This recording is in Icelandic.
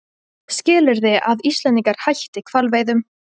Skilyrði að Íslendingar hætti hvalveiðum